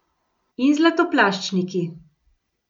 In zlatoplaščniki.